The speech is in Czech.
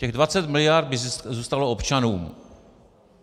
Těch 20 mld. by zůstalo občanům.